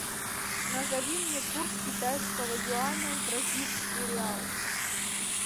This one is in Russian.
назови мне курс китайского юаня в бразильский реал